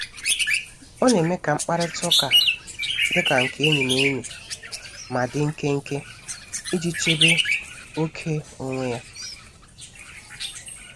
Ọ na-eme ka mkparịta ụka dika nke enyi na enyi, ma di nkenke iji chebe ókè onwe ya.